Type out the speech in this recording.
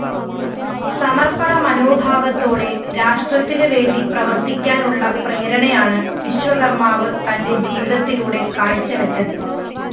സമര്‍പ്പണമനോഭവത്തോടെ രാഷ്ട്രത്തിനുവേണ്ടി പ്രവര്‍ത്തിക്കാനുള്ള പ്രേരണയാണ് വിശ്വകര്‍മ്മാവ് തന്റെ ജീവിതത്തിലൂടെ കാഴ്ച്ചവച്ചത്